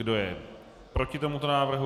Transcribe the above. Kdo je proti tomuto návrhu?